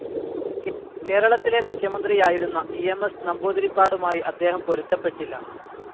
കേരളത്തിലെ മുഖ്യമന്ത്രിയായിരുന്ന E. M. S. നമ്പൂതിരിപ്പാടുമായി അദ്ദേഹം പൊരുത്തപ്പെട്ടില്ല.